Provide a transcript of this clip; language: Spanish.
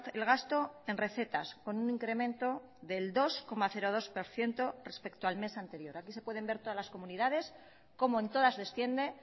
el gasto en recetas con un incremento del dos coma dos por ciento respecto al mes anterior aquí se pueden ver todas las comunidades cómo en todas desciende